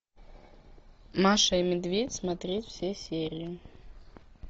маша и медведь смотреть все серии